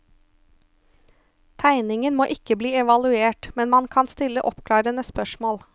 Tegningen må ikke bli evaluert, men man kan stille oppklarende spørsmål.